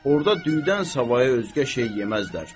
Orda düydən savayı özgə şey yeməzlər.